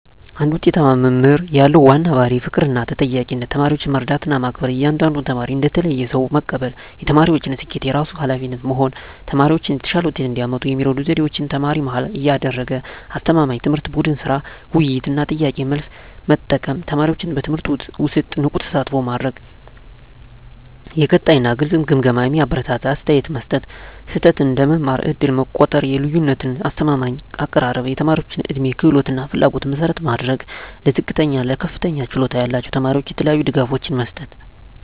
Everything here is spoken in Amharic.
አንድ ውጤታማ መምህር ያለው ዋና ባሕርይ ፍቅርና ተጠያቂነት ተማሪዎችን መረዳትና መከበር እያንዳንዱን ተማሪ እንደ ተለየ ሰው መቀበል የተማሪዎችን ስኬት የራሱ ኃላፊነት መሆን ተማሪዎች የተሻለ ውጤት እንዲያመጡ የሚረዱ ዘዴዎች ተማሪ-መሃል ያደረገ አስተማማኝ ትምህርት ቡድን ሥራ፣ ውይይት እና ጥያቄ–መልስ መጠቀም ተማሪዎችን በትምህርቱ ውስጥ ንቁ ተሳትፎ ማድረግ የቀጣይ እና ግልጽ ግምገማ የሚያበረታታ አስተያየት መስጠት ስህተት እንደ መማር ዕድል መቆጠር የልዩነት አስተማማኝ አቀራረብ የተማሪዎች ዕድሜ፣ ክህሎት እና ፍላጎት መሠረት ማድረግ ለዝቅተኛ እና ለከፍተኛ ችሎታ ያላቸው ተማሪዎች የተለያዩ ድጋፎች መስጠት